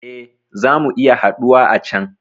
Eh, zamu iya haɗuwa a can